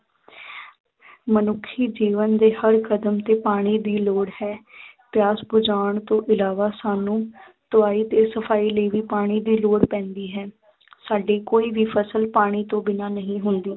ਮਨੁੱਖੀ ਜੀਵਨ ਦੇ ਹਰ ਕਦਮ ਤੇ ਪਾਣੀ ਦੀ ਲੌੜ ਹੈ ਪਿਆਸ ਬੁਝਾਉਣ ਤੋਂ ਇਲਾਵਾ ਸਾਨੂੰ ਧੁਆਈ ਤੇ ਸਫਾਈ ਲਈ ਵੀ ਪਾਣੀ ਦੀ ਲੌੜ ਪੈਂਦੀ ਹੈ ਸਾਡੀ ਕੋਈ ਵੀ ਫਸਲ ਪਾਣੀ ਤੋਂ ਬਿਨਾਂ ਨਹੀਂ ਹੁੰਦੀ।